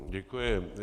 Děkuji.